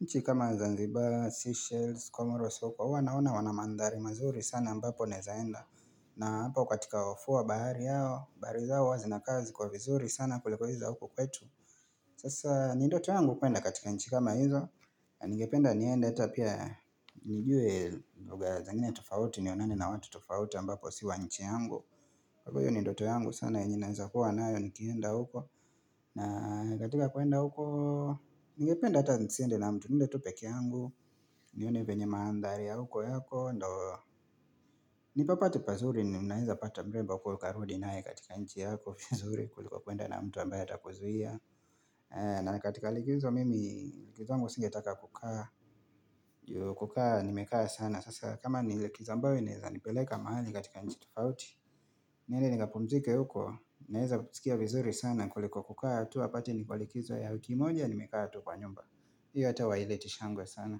nchi kama Zanzibar, Seychelles, Comoros, uwa naona wanamandhari mazuri sana ambapo naezaenda na hapa katika wafuwa wa bahari yao, bahari zao huwa zinakaa ziko vizuri sana kuliko hizi za huku kwetu Sasa, ni ndoto yangu kuenda katika nchi kama hizo, na nigependa nienda ata pia nijue lugha zingine tofauti nionane na watu tofauti ambapo si wa nchi yangu Kwa hivo hiyo ni ndoto yangu sana yenye naweza kuwa nayo nikienda huko na katika kuenda huko Ningependa hata nisiende na mtu nende tu pekee yangu nione venye maandhari ya huko yako ndo Nipapati pazuri ni mnaiza pata mrembo kukarudi nae katika nchi yako vizuri kuliko kuenda na mtu ambaya atakuzuia na katika likizo mimi likizo yangu singetaka kukaa kukaa nimekaa sana Sasa kama ni likizo ambayo inaeza nipeleka mahali katika nchi tufauti niende nikapumzike huko Naeza sikia vizuri sana kuliko kukaa tu apate niko likizo ya wki moja Nimekaa tu kwa nyumba hiyo hata haileti shangwe sana.